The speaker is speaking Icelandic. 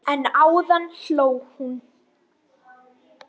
En áðan hló hún.